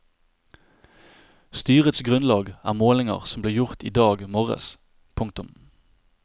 Styrets grunnlag er målinger som ble gjort i dag morges. punktum